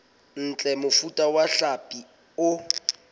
ntle mofuta wa hlapi o